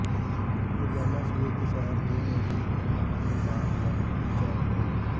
ਰੋਜ਼ਾਨਾ ਸਵੇਰ ਦੀ ਸੈਰ ਤੇ ਨਜ਼ਦੀਕ ਆਉਣ ਵਾਲੇ ਬਾਗ ਵੱਲ ਵਿਚਾਰ ਕਰੋ